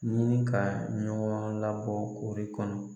Ɲini ka ɲɔgɔn labɔ koori in kɔnɔ